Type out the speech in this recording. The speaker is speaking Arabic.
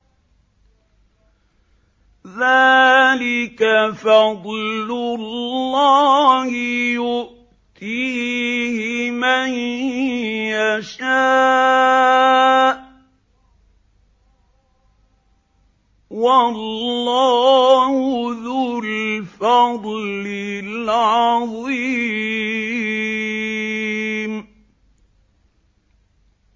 ذَٰلِكَ فَضْلُ اللَّهِ يُؤْتِيهِ مَن يَشَاءُ ۚ وَاللَّهُ ذُو الْفَضْلِ الْعَظِيمِ